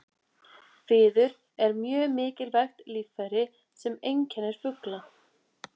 Fiður er mjög mikilvægt líffæri sem einkennir fugla.